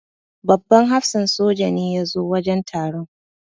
Babban hafsan soja ne ya zo wajen taron.